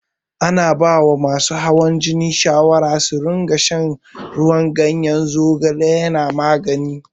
Ana baiwa masu hawan jini shawara su rinƙa shan ruwan ganyen zogale yana magani.